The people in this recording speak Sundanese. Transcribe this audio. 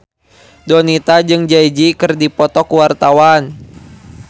Donita jeung Jay Z keur dipoto ku wartawan